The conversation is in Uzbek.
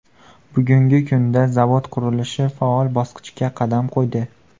Bugungi kunda zavod qurilishi faol bosqichga qadam qo‘ydi.